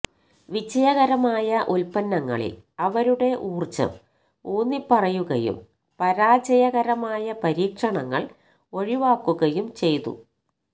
വിജയകരമായ ഉൽപന്നങ്ങളിൽ അവരുടെ ഊർജ്ജം ഊന്നിപ്പറയുകയും പരാജയകരമായ പരീക്ഷണങ്ങൾ ഒഴിവാക്കുകയും ചെയ്തു